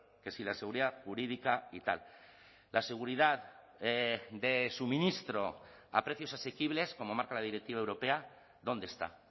que si la seguridad jurídica y tal la seguridad de suministro a precios asequibles como marca la directiva europea dónde está